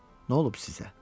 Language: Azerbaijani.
Nə olub sizə?